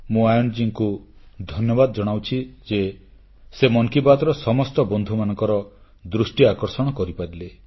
ମୁଁ ଆୟନ୍ ମହୋଦୟଙ୍କୁ ଧନ୍ୟବାଦ ଜଣାଉଛି ଯେ ସେ ମନ୍ କି ବାତ୍ର ସମସ୍ତ ବନ୍ଧୁମାନଙ୍କ ଦୃଷ୍ଟି ଆକର୍ଷଣ କରିପାରିଲେ